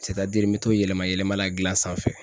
n bɛ to yɛlɛma yɛlɛma la gilan sanfɛ.